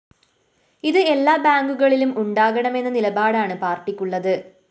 ഇത് എല്ലാ ബാങ്കുകളിലും ഉണ്ടാകണമെന്ന നിലപാടാണ് പാര്‍ട്ടിക്കുള്ളത്